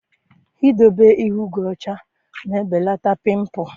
Idobe ihu gị ọcha na-ebelata pịmpụl.